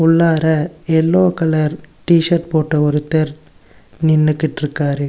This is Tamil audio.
உள்ளார எல்லோ கலர் டி_ஷர்ட் போட்ட ஒருத்தர் நின்னுக்கிட்டுருக்காரு.